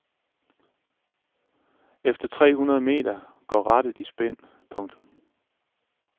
Efter tre hundrede meter går rattet i spind. punktum